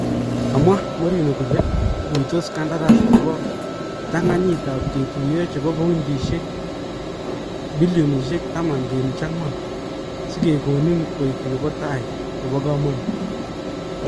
Kamwaa Mourinho kole ikuitoos kandaras nebo ptang'anyit ab kituyoo chebo paundisyek 10.4bn sikekonin koek nebo tai nebo kamanuut